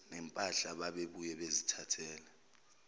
nempahla babebuye bazithathele